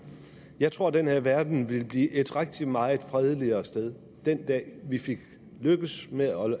jeg tror den her verden ville blive et rigtig meget fredeligere sted den dag vi lykkes med at